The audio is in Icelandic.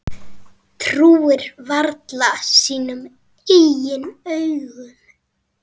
Trúir varla sínum eigin augum.